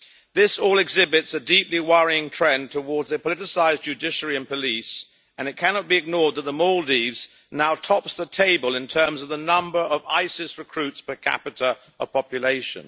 This all exhibits a deeply worrying trend towards a politicised judiciary and police, and it cannot be ignored that the Maldives now tops the table in terms of the number of ISIS recruits per capita of population.